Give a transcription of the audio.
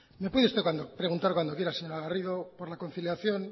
me puede usted preguntar cuando quiera señora garrido por la conciliación